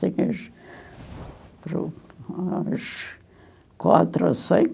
Tinhas umas quatro ou cinco.